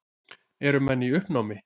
Eru menn í uppnámi?